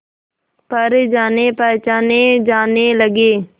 पर जानेपहचाने जाने लगे